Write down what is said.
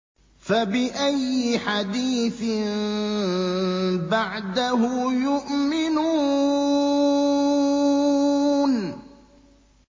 فَبِأَيِّ حَدِيثٍ بَعْدَهُ يُؤْمِنُونَ